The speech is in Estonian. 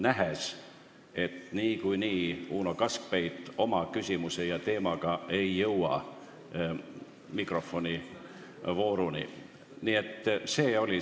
Nägin, et muidu Uno Kaskpeit ei jõua oma teemat tõstatada ja küsimust esitada.